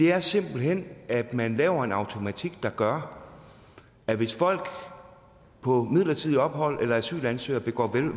er simpelt hen at man laver en automatik der gør at hvis folk på midlertidigt ophold eller asylansøgere begår